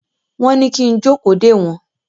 Wọ́n ní kí n jókòó dè wọ́n.